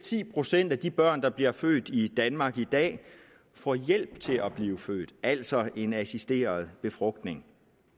ti procent af de børn der bliver født i danmark i dag får hjælp til at blive født altså i en assisteret befrugtning